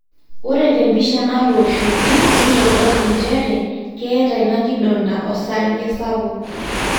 ore tempisha natooshoki neitodolu njere keeta ina kidonda osarge sapuk